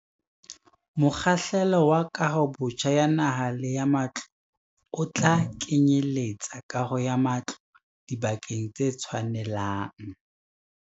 Mokgahlelo wa kahobotjha ya naha le ya matlo o tla kenyeletsa kaho ya matlo dibakeng tse tshwanelang.